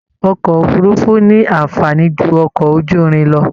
Ọkọ òfurùnfu ní anfààní jù ọkọ ojúrin lọ.